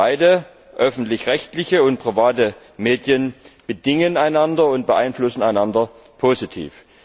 Beide öffentlich rechtliche und private Medien bedingen einander und beeinflussen einander positiv.